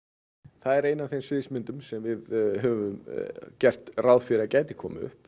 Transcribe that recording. það er ein af þeim sviðsmyndum sem við höfum gert ráð fyrir að gæti komið upp